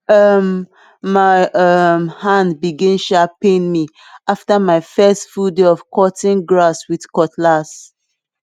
um my um hand begin um pain me after my first full day of cutting grass with cutlass